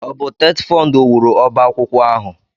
Ọ bụ TETFUND wuru ọbá akwụkwọ ahụ?